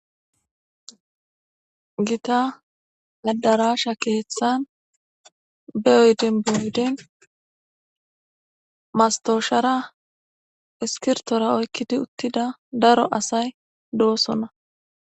gita adarasha keeththan be oyden oyden mastoshara iskirtora oykkidi uttida daro asay dosona.